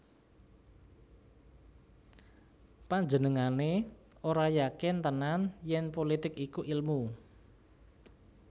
Panjenengané ora yakin tenan yèn pulitik iku ilmu